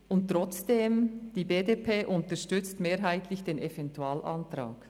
Und trotzdem: Die BDP unterstützt mehrheitlich den Eventualantrag.